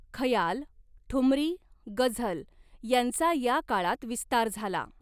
खयाल ठुमरी गझल यांचा या काळात विस्तार झाला.